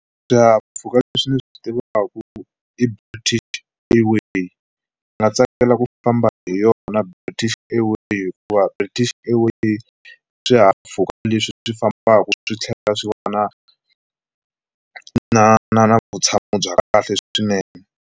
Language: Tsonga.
Swihahampfhuka leswi ndzi swi tivaka i British Airway ndzi nga tsakela ku famba hi yona British Airway hikuva British airway swihahampfhuka leswi swi fambaka swi tlhela swi va na na na na vutshamo bya kahle swinene.